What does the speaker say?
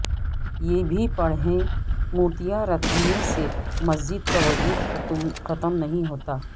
یہ بھی پڑھیں مورتیاں رکھ دینے سے مسجد کا وجود ختم نہیں ہوتا